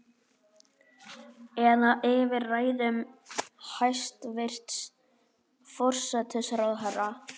Eða yfir ræðum hæstvirts forsætisráðherra?